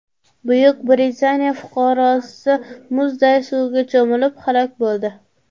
Buyuk Britaniya fuqarosi muzday suvga cho‘milib, halok bo‘ldi.